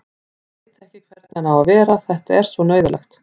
Veit ekki hvernig hann á að vera, þetta er svo neyðarlegt.